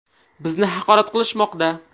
Bizni haqorat qilishmoqda.